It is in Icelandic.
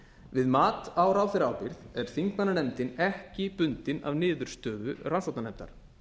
við mat á ráðherraábyrgð er þingmannanefndin ekki bundin af niðurstöðu rannsóknarnefndar